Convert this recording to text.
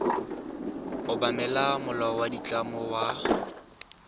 obamela molao wa ditlamo wa